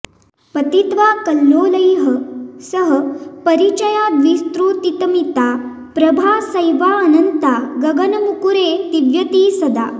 पतित्वा कल्लोलैः सह परिचयाद्विस्तृतिमिता प्रभा सैवाऽनन्ता गगनमुकुरे दीव्यति सदा